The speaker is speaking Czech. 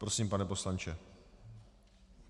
Prosím, pane poslanče.